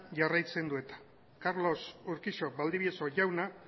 jarraitzen du carlos urquijo valdivieso jauna